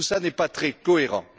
Tout cela n'est pas très cohérent.